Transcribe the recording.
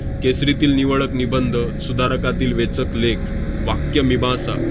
केसरीतील निवडक निबंध, सुधारकातील वेचक लेख, वाक्यमीमांसा,